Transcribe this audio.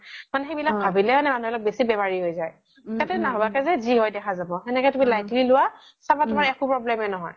মানে সেই বিলাক ভাবিলে ন বেচি বেমাৰি হয় যাই তাতকে নাভাকে যি হয় দেখা যাব সেনেকে তুমি lightly লুৱা চাবা তুমাৰ একো problem য়ে নহয়